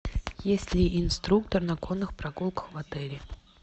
есть ли инструктор на конных прогулках в отеле